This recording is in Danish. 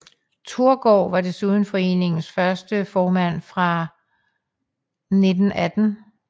Tórgarð var desuden foreningens første formand fra 1918